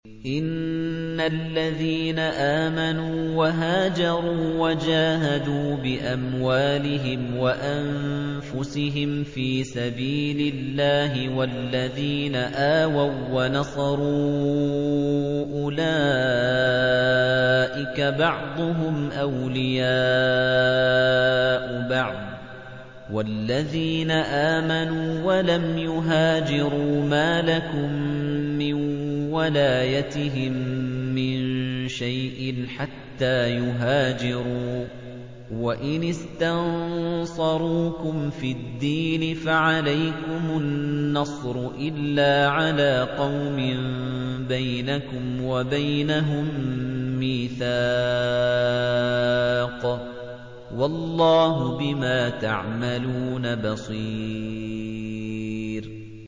إِنَّ الَّذِينَ آمَنُوا وَهَاجَرُوا وَجَاهَدُوا بِأَمْوَالِهِمْ وَأَنفُسِهِمْ فِي سَبِيلِ اللَّهِ وَالَّذِينَ آوَوا وَّنَصَرُوا أُولَٰئِكَ بَعْضُهُمْ أَوْلِيَاءُ بَعْضٍ ۚ وَالَّذِينَ آمَنُوا وَلَمْ يُهَاجِرُوا مَا لَكُم مِّن وَلَايَتِهِم مِّن شَيْءٍ حَتَّىٰ يُهَاجِرُوا ۚ وَإِنِ اسْتَنصَرُوكُمْ فِي الدِّينِ فَعَلَيْكُمُ النَّصْرُ إِلَّا عَلَىٰ قَوْمٍ بَيْنَكُمْ وَبَيْنَهُم مِّيثَاقٌ ۗ وَاللَّهُ بِمَا تَعْمَلُونَ بَصِيرٌ